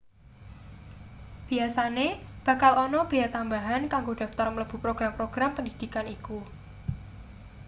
biasane bakal ana bea tambahan kanggo daftar mlebu program-program pendhidhikan iku